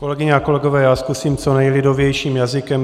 Kolegyně a kolegové, já zkusím co nejlidovějším jazykem.